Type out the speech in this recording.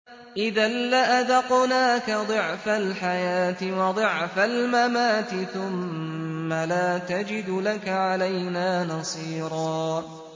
إِذًا لَّأَذَقْنَاكَ ضِعْفَ الْحَيَاةِ وَضِعْفَ الْمَمَاتِ ثُمَّ لَا تَجِدُ لَكَ عَلَيْنَا نَصِيرًا